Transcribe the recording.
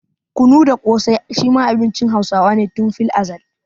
Kunu da ƙosai shi ma abincin Hausawa ne tun filazal.